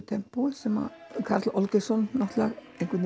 tempói sem Karl Olgeirsson náttúrulega